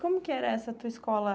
Como que era essa tua escola?